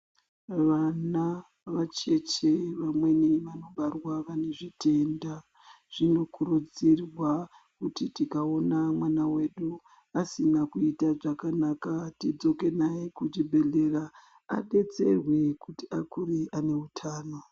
Vana vacheche vamweni vanobarwa vane zvitenda, zvinokurudzirwa kuti tikaona mwana wedu asina kuita zvakanaka tidzoke naye kuchibhedhlera adetserwe kuti akure ane utano.